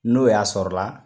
N'o y'a sɔrɔla